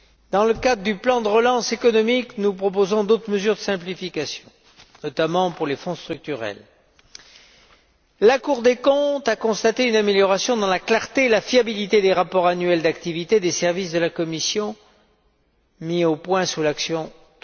Dans le cadre du plan de relance économique, nous proposons d'autres mesures de simplification, notamment pour les fonds structurels. La Cour des comptes a constaté une amélioration dans la clarté et la fiabilité des rapports annuels d'activité des services de la Commission mis au point sous l'action n°